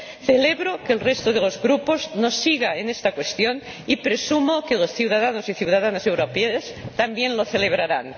Celebro que el resto de los grupos nos siga en esta cuestión y presumo que los ciudadanos y ciudadanas europeos también lo celebrarán.